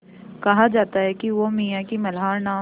कहा जाता है कि वो मियाँ की मल्हार नाम